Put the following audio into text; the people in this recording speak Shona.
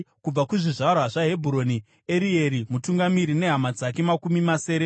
kubva kuzvizvarwa zvaHebhuroni, Erieri mutungamiri nehama dzake makumi masere;